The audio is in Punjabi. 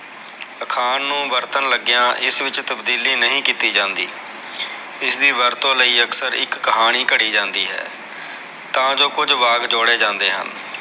ਅਖਾਣ ਨੂ ਵਰਤਣ ਲਗਿਆ ਇਸ ਵਿਚ ਤਬਦੀਲੀ ਨਹੀ ਕੀਤੀ ਜਾਂਦੀ ਇਸ ਦੀ ਵਰਤੋ ਲਯੀ ਅਕਸਰ ਇਕ ਕਹਾਣੀ ਘੜੀ ਜਾਂਦੀ ਹੈ ਤਾਜੋ ਕੁਝ ਵਾਕ ਜੋੜੇ ਜਾਂਦੇ ਹਨ